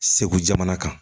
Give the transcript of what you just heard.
Segu jamana kan